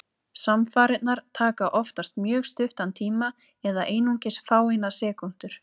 Samfarirnar taka oftast mjög stuttan tíma, eða einungis fáeinar sekúndur.